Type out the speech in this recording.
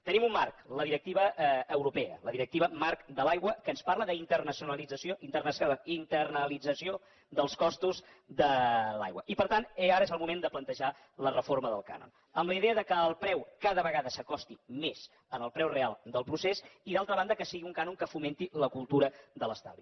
tenim un marc la directiva europea la directiva marc de l’aigua que ens parla d’internalització dels costos de l’aigua i per tant ara és el moment de plantejar la reforma del cànon amb la idea que el preu cada vegada s’acosti més al preu real del procés i d’altra banda que sigui un cànon que fomenti la cultura de l’estalvi